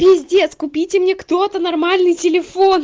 пиздец купите мне кто-то нормальный телефон